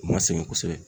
U ma sɛgɛn kosɛbɛ